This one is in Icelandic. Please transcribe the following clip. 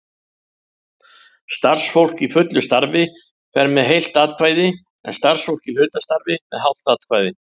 Starfsfólk í fullu starfi fer með heilt atkvæði, en starfsfólk í hlutastarfi með hálft atkvæði.